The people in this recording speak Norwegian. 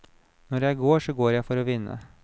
Når jeg går, så går jeg for å vinne.